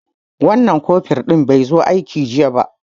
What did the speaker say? Wan nan kofur ɗin be zo aiki ba jiya